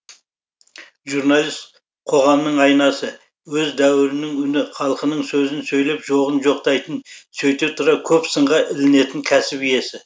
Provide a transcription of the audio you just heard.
журналист қоғамның айнасы өз дәуірінің үні халқының сөзін сөйлеп жоғын жоқтайтын сөйте тұра көп сынға ілінетін кәсіп иесі